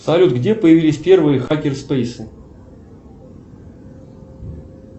салют где появились первые хакер спейсы